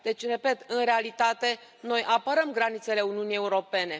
Deci, repet, în realitate noi apărăm granițele Uniunii Europene.